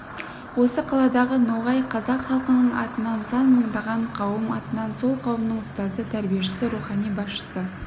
осы қаладағы ноғай қазақ халқының атынан сан мыңдаған қауым атынан сол қауымның ұстазы тәрбиешісі рухани басшысы